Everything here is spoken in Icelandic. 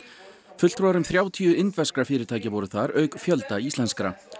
fulltrúar um þrjátíu indverskra fyrirtækja voru þar auk fjölda íslenskra